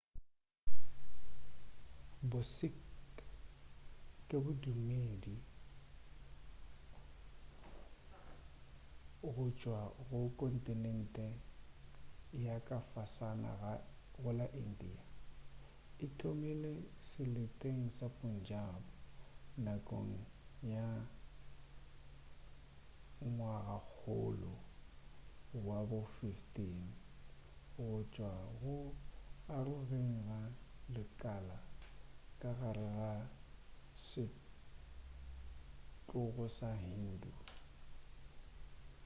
bo-sikh ke bodumedi go tšwa go kontinente ya ka fasana go la india e thomile seleteng sa punjab nakong ya ngwagakgolo wa bo 15 go tšwa go arogeng ga lekala ka gare ga setlogo sa hindu